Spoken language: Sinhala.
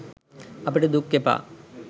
අපිට දුක් එපා